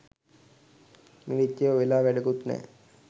ම්ලේච්චයෝ වෙලා වැඩකුත් නෑ.